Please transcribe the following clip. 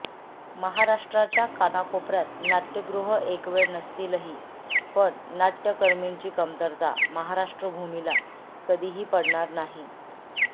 महाराष्ट्राच्या कानाकोपऱयात नाटय़गृह एकवेळ नसतीलही पण नाटय़कर्मींची कमतरता महाराष्ट्रभूमीला कधीही पडणार नाही